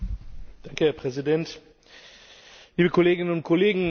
Herr Präsident, liebe Kolleginnen und Kollegen!